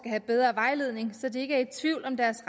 have bedre vejledning så de ikke er i tvivl om deres